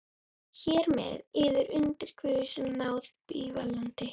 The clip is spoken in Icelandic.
Hér með yður undir guðs náð bífalandi.